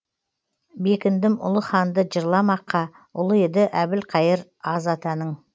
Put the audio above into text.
бекіндім ұлы ханды жырламаққа ұлы еді әбілқайыр аз атаның